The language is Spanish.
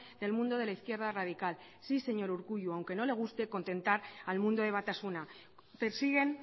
del mundo de la izquierda radical sí señor urkullu aunque no le guste contentar al mundo de batasuna persiguen